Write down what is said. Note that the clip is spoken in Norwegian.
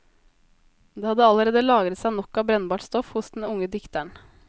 Det hadde allerede lagret seg nok av brennbart stoff hos den unge dikteren.